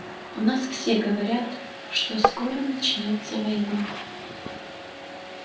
у нас все говорят что скоро начнётся война